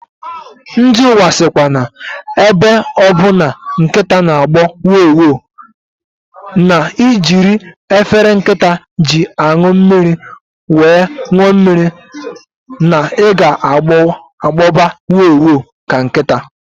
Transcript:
Ndị nwa sikwa na ebe ọbụ na nkịta na agbọ wo! wo!, na ijiri efele nkịta ji anụ mmiri wee ṅụọ mmiri, na ị ga agboba wo!wo! ka nkịta